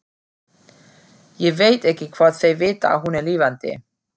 Ég veit ekki hvort þeir vita að hún er lifandi.